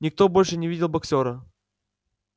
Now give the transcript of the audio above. никто больше не видел боксёра